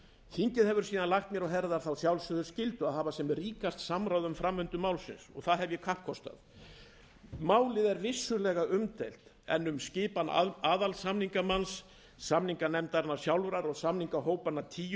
þingið hefur lagt mér á herðar þá sjálfsögðu skyldu að hafa sem ríkast samráð um framvindu málsins það hef ég kappkostað málið er vissulega umdeilt en um skipan aðalsamningamanns samninganefndarinnar sjálfrar og samningahópanna tíu